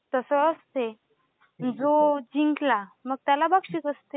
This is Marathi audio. तसं असते. जो जिंकला मग त्याला बक्षीस असते.